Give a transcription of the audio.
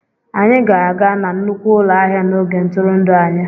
Anyị ga-aga na nnukwu ụlọ ahịa n'oge ntụrụndụ anyị